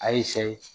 A ye sɛ ye